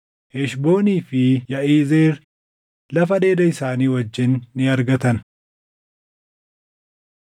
Heshboonii fi Yaʼizeer lafa dheeda isaanii wajjin ni argatan.